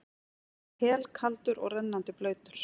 Hann var helkaldur og rennandi blautur.